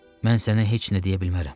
Mən sənə heç nə deyə bilmərəm.